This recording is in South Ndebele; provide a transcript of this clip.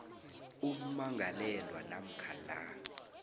ummangalelwa namkha la